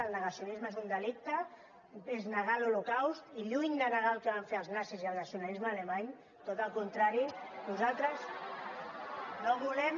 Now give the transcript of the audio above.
el negacionis·me és un delicte és negar l’holocaust i lluny de ne·gar el que van fer els nazis i el nacionalisme alemany tot al contrari lem